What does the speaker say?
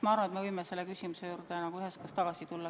Ma arvan, et me võime selle küsimuse juurde üheskoos tagasi tulla.